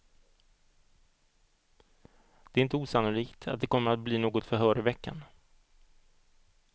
Det är inte osannolikt att det kommer att bli något förhör i veckan.